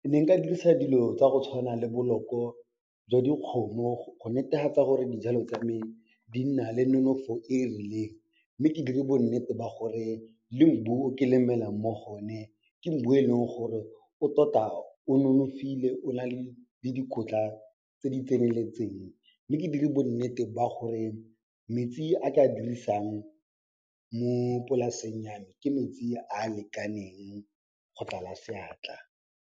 ke ne nka dirisa dilo tsa go tshwana le boloko jwa dikgomo go netefatsa gore dijalo tsa me di nna le nonofo e rileng mme ke dire bo nnete ba gore le o ke lemelang mo go o ne, ke e leng gore o tota o nonofile o nale le dikotla tse di tseneletseng mme ke dire bo nnete ba gore metsi a ke a dirisang mo polaseng ya me, ke metsi a a lekaneng go tlala seatla.